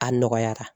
A nɔgɔyara